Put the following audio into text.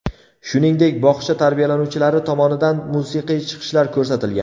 Shuningdek, bog‘cha tarbiyalanuvchilari tomonidan musiqiy chiqishlar ko‘rsatilgan.